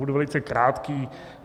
Budu velice krátký.